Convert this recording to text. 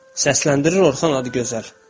Səsləndirir Orxan Adıgözəl.